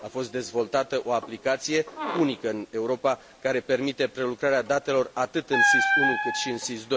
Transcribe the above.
A fost dezvoltată o aplicație unică în Europa, care permite prelucrarea datelor atât în SIS I, cât și în SIS II.